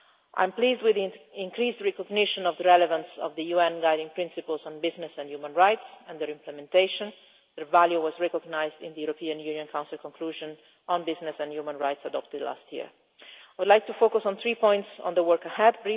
I am pleased with the increased recognition of the relevance of the UN Guiding Principles on Business and Human Rights and their implementation. Their value was recognised in the European Union Council conclusion on business and human rights adopted last year. I would like to focus briefly on three points about the work ahead.